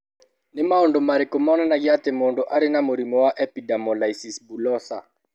Nĩ maũndũ marĩkũ monanagia atĩ mũndũ arĩ na mũrimũ wa epidermolysis bullosa?